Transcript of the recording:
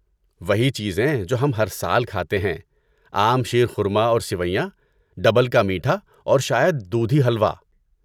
وہی چیزیں جو ہم ہر سال کھاتے ہیں۔ عام شیر خورما اور سیویاں، ڈبل کا میٹھا اور شاید دودھی حلوہ۔